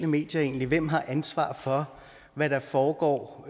medier egentlig hvem har ansvaret for hvad der foregår